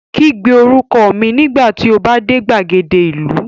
Kígbe orúkọ mi nígbà tí o bá dé gbàgede ìlú